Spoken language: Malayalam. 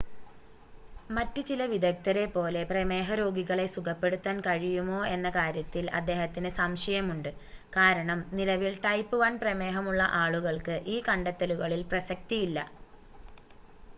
മറ്റ് ചില വിദഗ്ദ്ധരെ പോലെ പ്രമേഹരോഗികളെ സുഖപ്പെടുത്താൻ കഴിയുമോ എന്ന കാര്യത്തിൽ അദ്ദേഹത്തിന് സംശയമുണ്ട് കാരണം നിലവിൽ ടൈപ്പ് 1 പ്രമേഹമുള്ള ആളുകൾക്ക് ഈ കണ്ടെത്തലുകളിൽ പ്രസക്തി ഇല്ല